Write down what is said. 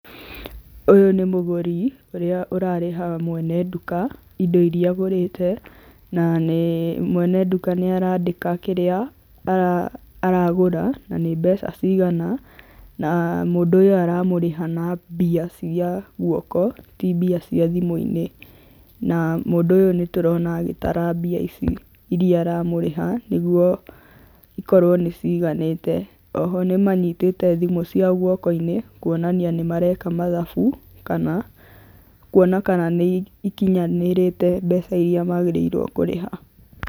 Ũyũ nĩ mũgũri ũrĩa ũrarĩha mwene nduka, indo iria agũrĩte, na mwene nduka nĩ arandĩka kĩrĩa aragũra na nĩ mbeca cigana, na mũndũ ũyũ aramũrĩha na mbia cia guoko, ti mbia cia thimũinĩ, na mũndũ ũyũ nĩ tũrona agĩtara mbia ici iríia aramũrĩha nĩguo ikorwo nĩ ciganĩte, oho nĩ manyitĩte thimũ ciao guokoinĩ kuonania nĩ mareka mathabu kana kuona kana nĩ ikinyanĩrĩte mbeca iria magĩrĩirwo kũrĩha.